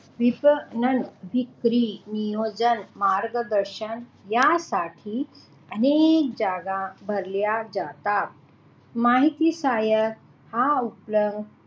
तिसरी नियोजन मार्गदर्शन यासाठी अनेक जागा भरल्या जातात माहिती सहाय्यक हा उपलब्ध